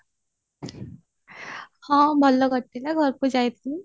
ହଁ ଭଲ କଟିଲା ଘରକୁ ଯାଇଥିଲି